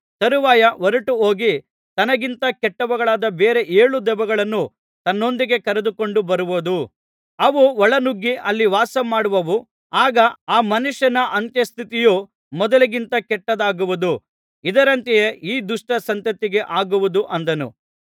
ತರುವಾಯ ಹೊರಟುಹೋಗಿ ತನಗಿಂತ ಕೆಟ್ಟವುಗಳಾದ ಬೇರೆ ಏಳು ದೆವ್ವಗಳನ್ನು ತನ್ನೊಂದಿಗೆ ಕರೆದುಕೊಂಡು ಬರುವುದು ಅವು ಒಳ ನುಗ್ಗಿ ಅಲ್ಲಿ ವಾಸ ಮಾಡುವವು ಆಗ ಆ ಮನುಷ್ಯನ ಅಂತ್ಯಸ್ಥಿತಿಯು ಮೊದಲಿಗಿಂತ ಕೆಟ್ಟದಾಗುವುದು ಇದರಂತೆಯೇ ಈ ದುಷ್ಟ ಸಂತತಿಗೆ ಆಗುವುದು ಅಂದನು